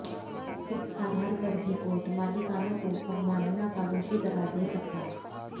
इस आधार पर भी कोर्ट मालिकानों को अवमानना का दोषी करार दे सकता है